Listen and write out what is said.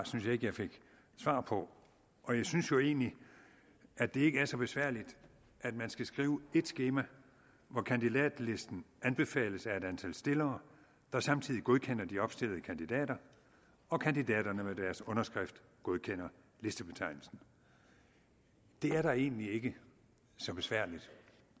synes jeg ikke jeg fik svar på og jeg synes jo egentlig at det ikke er så besværligt at man skal skrive et skema hvor kandidatlisten anbefales af et antal stillere der samtidig godkender de opstillede kandidater og kandidaterne med deres underskrift godkender listebetegnelsen det er da egentlig ikke så besværligt